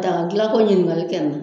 Daka dilanko ɲininkali kɛ n na.